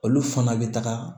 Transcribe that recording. Olu fana bɛ taga